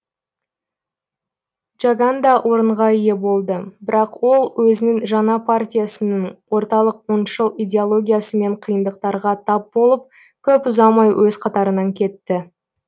джаган да орынға ие болды бірақ ол өзінің жаңа партиясының орталық оңшыл идеологиясымен қиындықтарға тап болып көп ұзамай өз қатарынан кетті